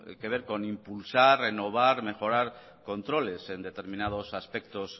que ver con impulsar renovar mejorar controles en determinados aspectos